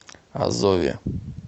азове